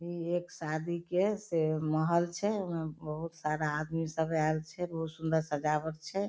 इ एक शादी के से महल छै उमे बहुत सारा आदमी सब आएल छै बहुत सुन्दर सजावट छै।